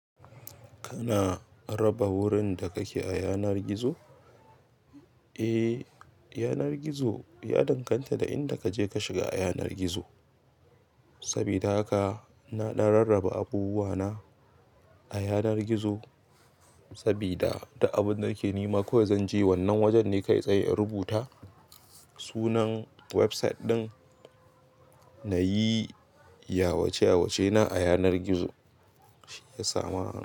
Kana raba wurin da kake a yanar gizo? Eh, yanar gizo ya danganta da inda kaje ka shiga a yanar gizo. Sabida haka ina ɗan rarraba abubuwa na a yanar gizo, sabida duk abin da nake nema kawai zanje wannan wajan ne kai tsaye in rubuta sunan website ɗin nayi yawace yawace na a yanar gizo. Shi ya samu ana.